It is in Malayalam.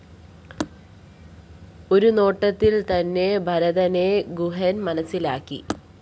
ഒരുനോട്ടത്തിൽതന്നെ ഭരതനെ ഗുഹൻ മനസ്സിലാക്കി